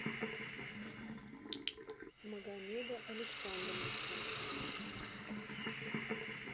магомеда александровича